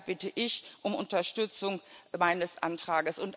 Deshalb bitte ich um Unterstützung meines Antrags.